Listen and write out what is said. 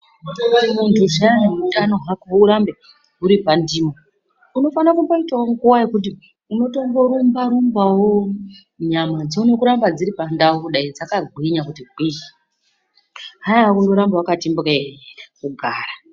Muntu zviyani utano hwako hurambe huri pandimo. Unofanira kutomboitavo nguva yekuti unofanira kutomborumba-rumbavo nyama dzione kuramba dziri pandau kudai dzakagwinya kuti gwii, haiva kuramba vakati mbwee kugara.